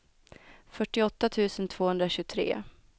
fyrtioåtta tusen tvåhundratjugotre